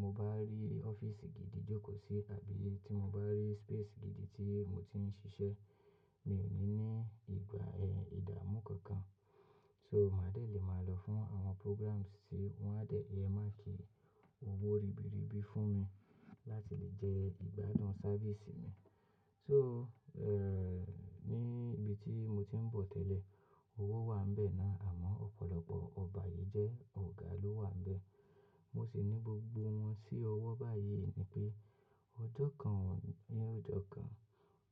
mo bá rí ọ́fíìsì gidi jókòó sí àbí tí mo bá rí space gidi tí mo ti ń ṣiṣẹ́, mi ò ní ní ìgbà, ẹ́, ìdámú kankan. So màá dẹ̀ lè máa lọ fún àwọn programs tí wọ́n á dẹ̀ yẹ máà kí owó ribiribi fún mi láti lè jẹ́ ìgbádùn service mi. So, ẹ́, ní ibi tí mo ti ń bọ̀ tẹ́lẹ̀, owó wà níbẹ̀ náà àmọ́ ọ̀pọ̀lọpọ̀ ọbayeje ọ̀gá ló wà nbẹ̀. Mo sì ní gbogbo wọn sí ọwọ́ báyìí ni pé ọjọ́ kan ni ọjọ́ kan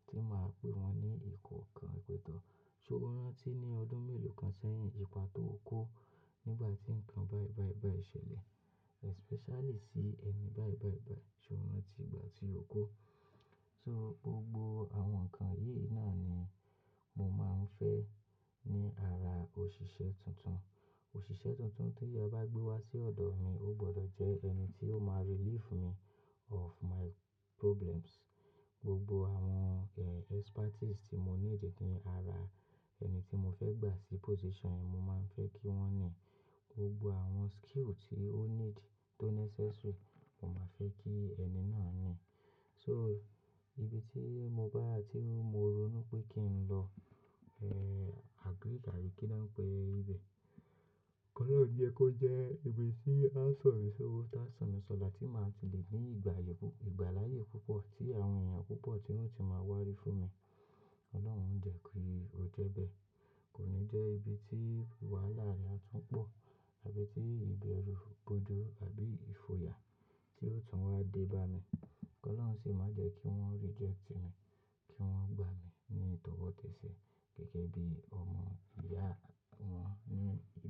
tí màá pe wọn ní ìkọ̀ọ̀kan. Wípé tọ́, ṣé o rántí ní ọdún mélòó kan sẹ́yìn, ipa tó ó kó nígbà tí nǹkan bàì bàì bàì ṣẹlẹ̀? Especially sí ẹni bàì bàì bàì, ṣé o rántí ìpa tí ó kó? So gbogbo àwọn nǹkan yìí náà ni mo máa ń fẹ́ ní ara òṣìṣẹ́ tuntun. Òṣìṣẹ́ tuntun tí a bá gbé wá sí ọ̀dọ̀ mi ó gbọdọ̀ jẹ ẹni tí ó máa relieve me of my problems. Gbogbo àwọn, ẹ́, expertise tí mo ní dì ní ara ẹni tí mo fẹ́ gbà sí position yìí mo máa ń fẹ́ kí wọ́n ní. Gbogbo àwọn skill tí ó need tó necessary, mo máa fẹ́ kí ẹni náà ní. So ibi tí mo bá, tí mo ronú pé kí n lọ, ẹ́, agric àbí kí ni wọ́n pe ibẹ̀. Kọ́lọ́run yẹ kó jẹ́ ibi tí a san mi sí owó tá san mi sọ̀là tí màá ti lè ní ìgbà ayé bú, ìgbà láàyè púpọ̀ tí àwọn èèyàn púpọ̀ tí wọ́n ti máa wá rí fún mi. Ọlọ́run ó jẹ́ kí ó jẹ́ bẹ́ẹ̀. Kò ní jẹ́ ibi tí wàhálà rẹ̀ á tún pọ̀ àbí tí ìbẹ̀rù, ìbòjú àbí ìfoya tí ó tún wá dé bá mi. Kọ́lọ́run sì má jẹ́ kí wọ́n reject mi, kí wọ́n gbà mí ní tọwọ́tẹ́ẹ̀sẹ̀ gẹ́gẹ́ bí ọmọ ìyá wọn ní ibẹ̀.